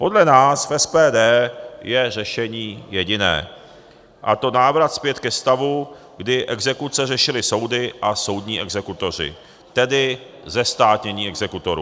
Podle nás v SPD je řešení jediné, a to návrat zpět ke stavu, kdy exekuce řešili soudy a soudní exekutoři, tedy zestátnění exekutorů.